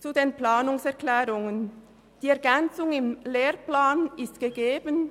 Zu den Planungserklärungen: Die Ergänzung im Lehrplan ist gegeben.